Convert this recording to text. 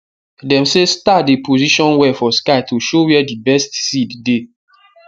dem say star dey position well for sky to show where d best seed dey